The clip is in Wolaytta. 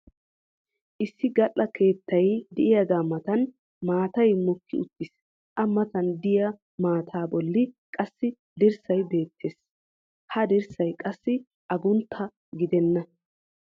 issi gal'a keettay diyaagaa matan maatay mokki uttiis. a matan diya maataa boli qassi dirssay beettees. ha dirssay qassi aguntta gidenna.